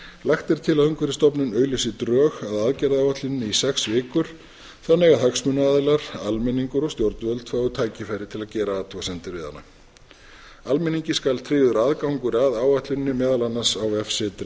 lagt er til að umhverfisstofnun auglýsi drög að aðgerðaáætluninni í sex vikur þannig að hagsmunaaðilar almenningur og stjórnvöld fái tækifæri til að gera athugasemdir við hana almenningi skal tryggður aðgangur að áætluninni meðal annars á vefsetri